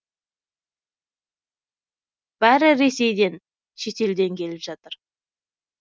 бәрі ресейден шетелден келіп жатыр